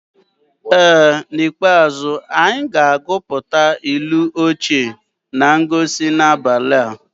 Ee n'ikpeazụ, anyị ga-agụpụta ilu ochie na ngosi n'abalị a.